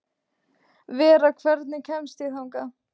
Vera, hvernig kemst ég þangað?